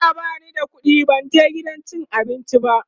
jiya bani da ƙuɗi ban je gidan cin abinci ba